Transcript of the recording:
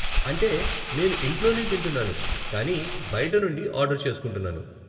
అంటే, నేను ఇంట్లోనే తింటున్నాను కానీ బయట నుండి ఆర్డర్ చేస్కుంటున్నాను.